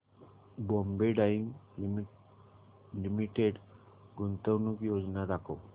Bombay dyeing limited गुंतवणूक योजना दाखव